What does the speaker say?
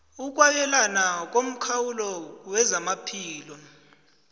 ukwabelana ngomkhawulo wezamaphilo